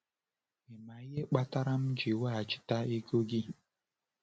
Ị ma ihe kpatara m ji weghachite gị ego gị?